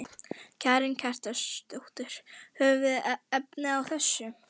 Karen Kjartansdóttir: Höfum við efni á þessu?